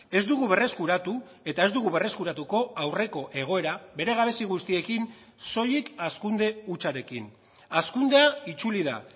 ez dugu berreskuratu eta ez dugu berreskuratuko aurreko egoera bere gabezi guztiekin soilik hazkunde hutsarekin hazkundea itzuli da